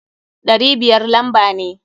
Ɗari biyar lamba ne.